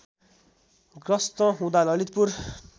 ग्रस्त हुँदा ललितपुर